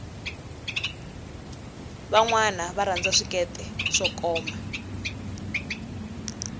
vanwana va rhanza swikete swo koma